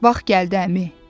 Vaxt gəldi əmi.